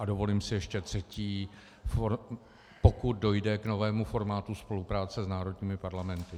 A dovolím si ještě třetí: pokud dojde k novému formátu spolupráce s národními parlamenty.